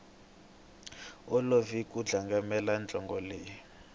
olovi ku landzelela nhlokomhaka leyi